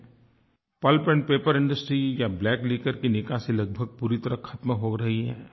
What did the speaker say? pulp and paper industry या black liquor की निकासी लगभग पूरी तरह ख़त्म हो रही है